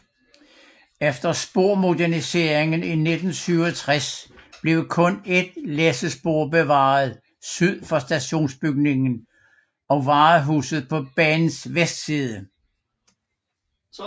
Efter spormoderniseringen i 1967 blev kun et læssespor bevaret syd for stationsbygningen og varehuset på banens vestside